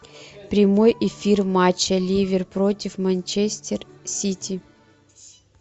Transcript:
прямой эфир матча ливер против манчестер сити